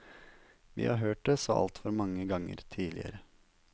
Vi har hørt det så altfor mange ganger tidligere.